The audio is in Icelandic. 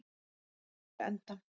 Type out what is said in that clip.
hafi til enda.